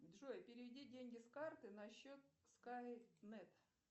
джой переведи деньги с карты на счет скайнет